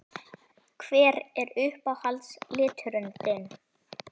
Hver er uppáhalds liturinn þinn?